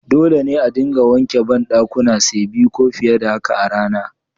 Dole ne a dinga wanke bandakuna say biyu ko fiye da haka a rana.